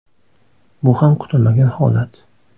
Bu ham kutilmagan holat.